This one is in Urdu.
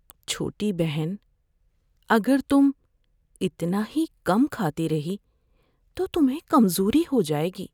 چھوٹی بہن، اگر تم اتنا ہی کم کھاتی رہی تو تمہیں کمزوری ہو جائے گی۔